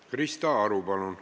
Krista Aru, palun!